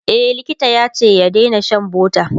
e likita yace ya Daina Shan butter